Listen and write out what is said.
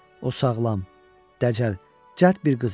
O sağlam, dəcəl, cəld bir qız idi.